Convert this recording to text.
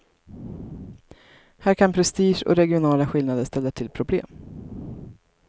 Här kan prestige och regionala skillnader ställa till problem.